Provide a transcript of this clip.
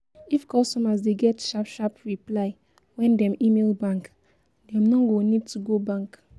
If customers dey get sharp sharp reply when dem email bank, dem no go need to go bank